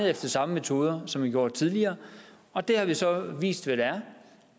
efter samme metoder som man har gjort tidligere og det har så vist at